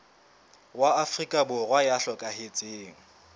wa afrika borwa ya hlokahetseng